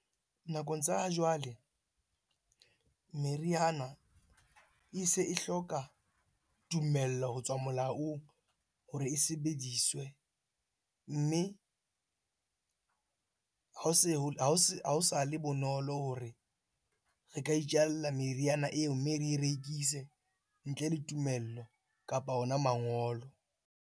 Nakong tsa ha jwale, meriana e se e hloka tumello ho tswa molaong hore e sebediswe. Mme ha o sa le bonolo hore re ka itjalla meriana eo mme re rekise ntle le tumello kapa ona mangolo.